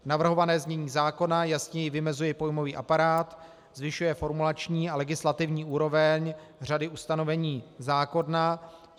Navrhované znění zákona jasněji vymezuje pojmový aparát, zvyšuje formulační a legislativní úroveň řady ustanovení zákona.